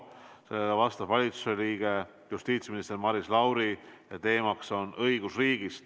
Talle vastab valitsuse liige justiitsminister Maris Lauri ja teemaks on õigusriik.